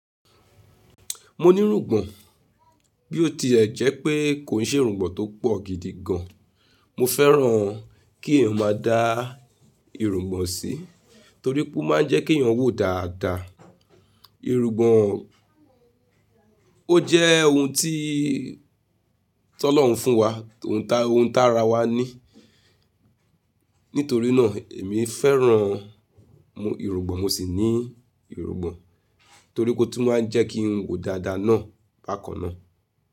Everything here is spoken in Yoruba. Mo nírúgbọn, bí ó tie jẹ́ pé kò n ṣe ìrúgbọn tó pọ̀ gidi gan. Mo fẹ́ràn-an kí eyan máa dá ìrúgbọn sí, torí pé ó máa ń jẹ́ kí eyan wò dáadáa. Ìrúgbọn ó jẹ́ ohun tí T'ọ́lọ́hun fún wa, t'ohun, ohun t'ára wa ní. Nítorínáà, èmi fẹ́ràn ìrúgbọn, mo sì ní ìrúgbọn, torí pé ó tún máa ń jẹ́ kí n wò dáadáa náà bákan náà.